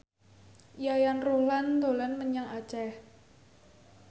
Yayan Ruhlan dolan menyang Aceh